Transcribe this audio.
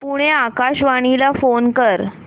पुणे आकाशवाणीला फोन कर